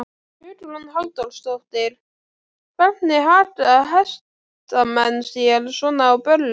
Hugrún Halldórsdóttir: Hvernig haga hestamenn sér svona á böllum?